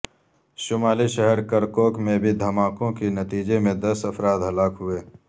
شمالی شہر کرکوک میں بھی دھماکوں کے نتیجے میں دس افراد ہلاک ہوئے